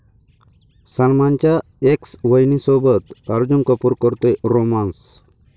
सलमानच्या एक्स वहिनीसोबत अर्जून कपूर करतोय रोमान्स?